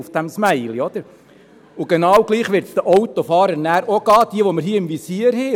Genau gleich wird es den Autofahrern auch gehen, die wir hier im Visier haben.